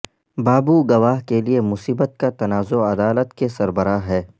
بابو گواہ کے لئے مصیبت کا تنازعہ عدالت کے سربراہ ہے